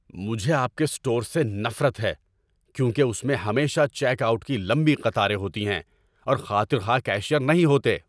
مجھے آپ کے اسٹور سے نفرت ہے کیونکہ اس میں ہمیشہ چیک آؤٹ کی لمبی قطاریں ہوتی ہیں اور خاطر خواہ کیشیئر نہیں ہوتے۔